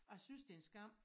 Jeg synes det en skam